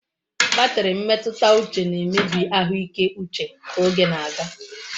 Batri mmetuta uche na-emebi ahuike uche ka oge na-aga